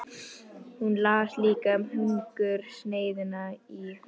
Hún las líka um hungursneyðina í